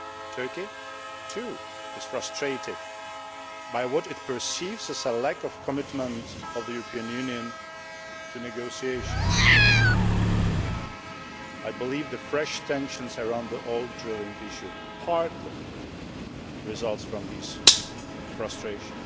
Turkey too is frustrated by what it perceives as a lack of commitment from the European Union to negotiations. I believe the fresh tensions around the whole drilling issue partly result from this frustration.